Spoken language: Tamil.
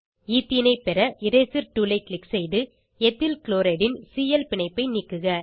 ஈத்தீனை பெற இரேசர் டூல் ஐ க்ளிக் செய்து எத்தில் க்ளோரைட் ன் சிஎல் பிணைப்பை நீக்குக